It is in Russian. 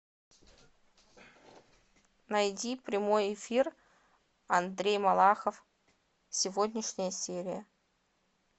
найди прямой эфир андрей малахов сегодняшняя серия